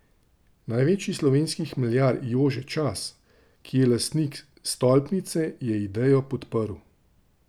Največji slovenski hmeljar Jože Čas, ki je lastnik stolpnice, je idejo podprl.